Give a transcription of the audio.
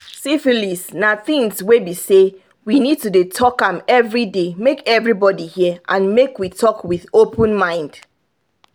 syphilis na thing's were be say we need to dey talk am everyday make everybody hear and make we talk with open mind